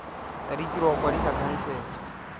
tsa ditiro go kwadisa khansele